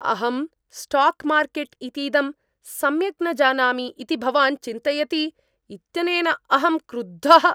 अहं stock market इतीदं सम्यक् न जानामि इति भवान् चिन्तयति इत्यनेन अहं क्रुद्धः।